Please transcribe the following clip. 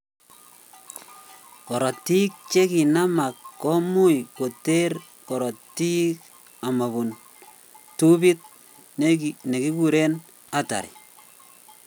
Korotik che kanamak komuch koter korotik amobun tubit nekikuren artery